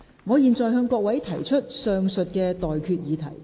我現在向各位提出上述待決議題。